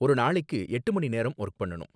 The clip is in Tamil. ஒரு நாளைக்கு எட்டு மணி நேரம் வொர்க் பண்ணனும்